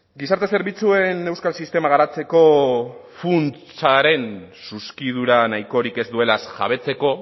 gizarte zerbitzuen euskal sistema garatzeko funtsaren zuzkidura nahikorik ez duelaz jabetzeko